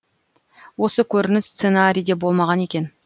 осы көрініс сценарийде болмаған екен